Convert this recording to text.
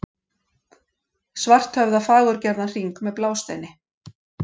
Svarthöfða fagurgerðan hring með blásteini.